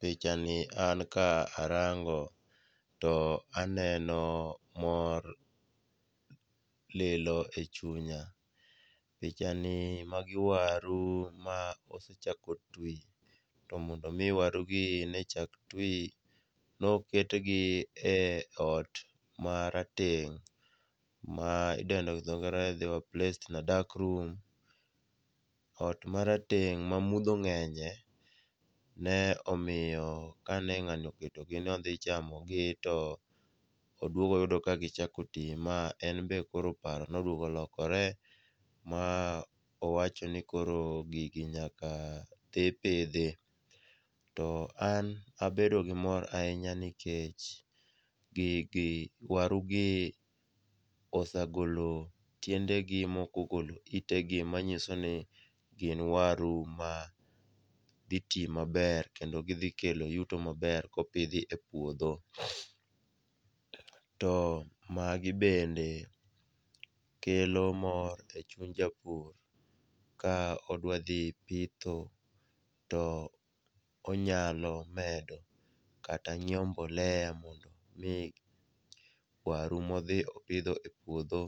Pichani an ka arango to aneno mor lilo e chunya . Pichani, magi waru ma osechako twi to mondo omi warugi chak twi, noketgi e ot marateng' ma idendo gi dhongere ni they were placed in a dark room, ot marateng' mamudho ng'enye ,ne omiyo kane ng'ani oketogi ni odhi chamogi to odwogo oyudo ka gichako oti ma en be koro paro nodwogo olokore ma owacho ni koro gigi nyaka dhi pidhi. To an abedo gi mor ahinya nikech gigi, warugi osegolo tiendegi ,moko ogolo itegi, manyiso ni gin waru ma dhi ti maber kendo gidhi kelo yuto maber kopidh epuodho. To magi bende kelo mor e chuny japur, ka odwa dhi pitho to onyalo medo kata nyiewo mbolea mondo omi waru modhi opidho e puodho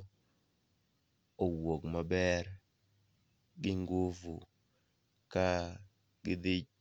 owuog maber gi ngufu ka gidhi.